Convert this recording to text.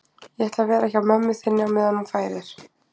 Ég ætla að vera hjá mömmu þinni á meðan hún fæðir